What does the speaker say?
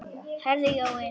Heyrðu Jói.